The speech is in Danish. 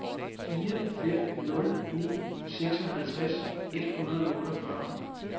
fire fem nul ni seksoghalvtreds et hundrede og otteogfyrre